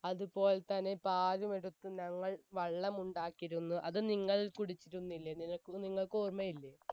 പാലും എടുത്ത് ഞങ്ങൾ വെള്ളം ഉണ്ടാക്കിയിരുന്നു അത് നിങ്ങൾ കുടിച്ചിരുന്നില്ലേ നിനക്കു നിങ്ങക്കു ഓർമ്മയില്ലേ